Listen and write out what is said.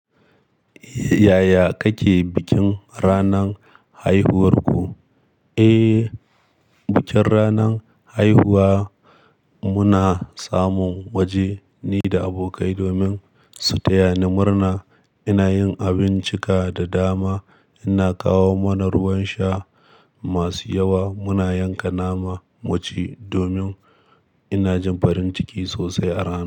Yaya kake bikin ranan haihuwarku? Eh, bikin ranan haihuwa muna samun waje ni da abokai domin su taya ni murna. Ina yin abincika da dama, ina kawo mana ruwan sha masu yawa. Muna yanka nama mu ci domin ina jin farin ciki sosai a rana.